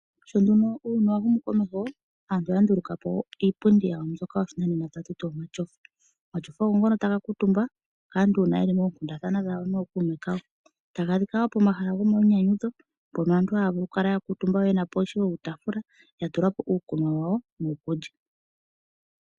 Shono uuyuni wahumu komeho, aantu oyandulukapo iipundi yawo mbyoka yopashinanena tatuti omatyofa, omatyofa ongono tanga kutumbwa kaantu una yeli mokundathana no kuume kawo, tangadhika wo pomahala ngomayinyanyudho pono aantu hayakala yenapo wo iitafula yatulapo wo iikunwa yawo niikulya.